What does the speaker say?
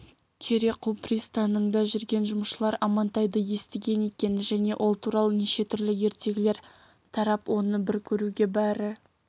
кереку пристаныңда жүрген жұмысшылар амантайды естіген екен және ол туралы неше түрлі ертегілер тарап оны бір көруге бәрі